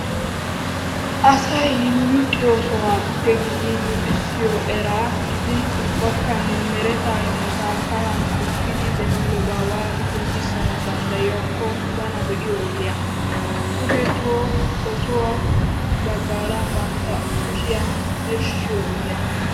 Asay luxxiyoo sohuwappe giidi luuxxissiyo eraa giidin ubbakka mereta immota ka'ahan qoofiddi demmidoba waati qonccissana danddayikko bana be'iyo oggiya. kushetu ossuwa baggara bantta kushiya birshshiyo oggiya.